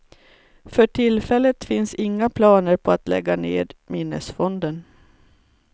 För tillfället finns inga planer på att lägga ned minnesfonden.